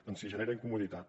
doncs sí genera incomoditat